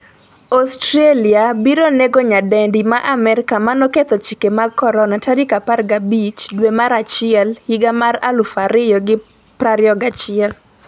Australia biro nego nyadendi ma Amerka manoketho chike mag Corona' 15 dwe mar achiel 2021